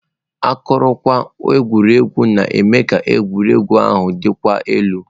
Akụrụngwa egwuregwu ga-eme ka egwuregwu ahụ dịkwuo elu.